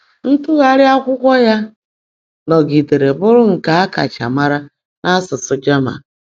Ntụgharị akwụkwọ ya nọgidere bụrụ nke a kacha mara n’asụsụ German.